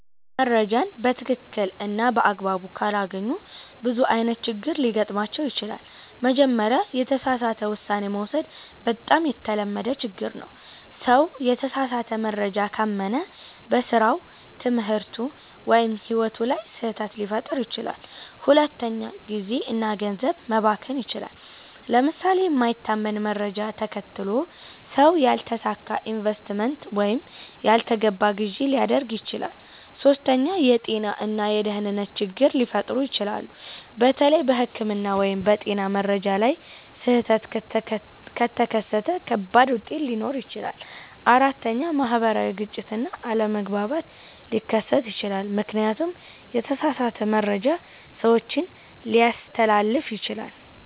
ሰዎች መረጃን በትክክል እና በአግባቡ ካላገኙ ብዙ አይነት ችግሮች ሊገጥሟቸው ይችላሉ። መጀመሪያ፣ የተሳሳተ ውሳኔ መውሰድ በጣም የተለመደ ችግር ነው። ሰው የተሳሳተ መረጃ ካመነ በስራው፣ ትምህርቱ ወይም ሕይወቱ ላይ ስህተት ሊፈጥር ይችላል። ሁለተኛ፣ ጊዜ እና ገንዘብ መባከን ይችላል። ለምሳሌ የማይታመን መረጃ ተከትሎ ሰው ያልተሳካ ኢንቨስትመንት ወይም ያልተገባ ግዢ ሊያደርግ ይችላል። ሶስተኛ፣ የጤና እና የደህንነት ችግሮች ሊፈጠሩ ይችላሉ። በተለይ በሕክምና ወይም በጤና መረጃ ላይ ስህተት ከተከተለ ከባድ ውጤት ሊኖር ይችላል። አራተኛ፣ ማህበራዊ ግጭት እና አለመግባባት ሊከሰት ይችላል፣ ምክንያቱም የተሳሳተ መረጃ ሰዎችን ሊያስተላልፍ ይችላል።